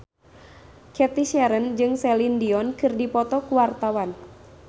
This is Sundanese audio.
Cathy Sharon jeung Celine Dion keur dipoto ku wartawan